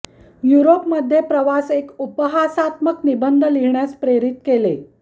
Europe मध्ये प्रवास एक उपहासात्मक निबंध लिहिण्यास प्रेरित केले